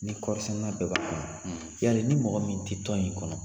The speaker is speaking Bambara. Ni kɔrisɛnɛ la bɛɛ b'a kɔnɔ yali ni mɔgɔ min tɛ tɔn in kɔnɔ